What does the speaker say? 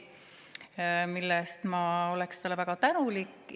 Selle eest ma oleks talle väga tänulik.